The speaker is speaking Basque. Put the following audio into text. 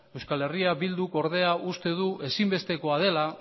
eh bilduk ordea uste du ezinbestekoa dela